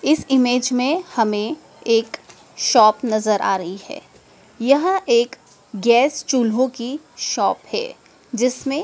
इस इमेज में हमें एक शॉप नजर आ रही है यहां एक गैस चुल्हों की शॉप है जिसमें--